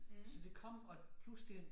Så det kom og pludselig